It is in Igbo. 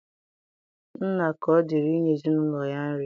Nna ka ọ dịrị inye ezinụlọ ya nri.